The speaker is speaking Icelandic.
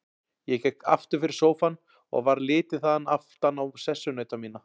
Ég gekk aftur fyrir sófann og varð litið þaðan aftan á sessunauta mína.